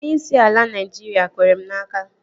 Onyeisi ala Naịjiria kwere m n'aka